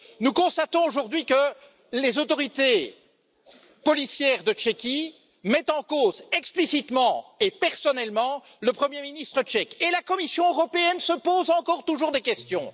Nous constatons aujourd'hui que les autorités policières de Tchéquie mettent en cause explicitement et personnellement le Premier ministre tchèque. Et la Commission européenne se pose encore et toujours des questions!